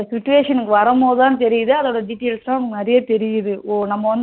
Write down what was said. ஓ நம்ம வந்து situation வரும் போதுதான் தெரியுது அதோட details லாம் நிறைய தெரியுது